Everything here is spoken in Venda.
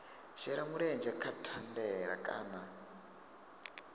shela mulenzhe kha thandela kana